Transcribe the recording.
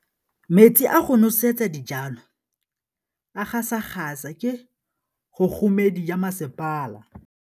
Metsi a go nosetsa dijalo a gasa gasa ke kgogomedi ya masepala.